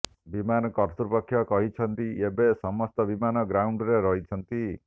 ବିମାନ କତ୍ତୃପକ୍ଷ କହିଛନ୍ତି ଏବେ ସମସ୍ତ ବିମାନ ଗ୍ରାଉଣ୍ଡରେ ରହିଛନ୍ତି